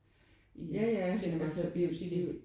I Cinemax og det er jo